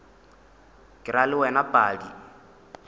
ke ra le wena padi